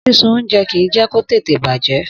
Sísun oúnjẹ kì í jẹ́ kó tètè bàjẹ́.